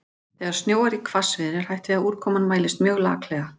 Þegar snjóar í hvassviðri er hætt við að úrkoman mælist mjög laklega.